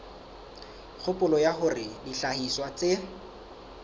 kgopolo ya hore dihlahiswa tse